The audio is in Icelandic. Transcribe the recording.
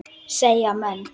segja menn.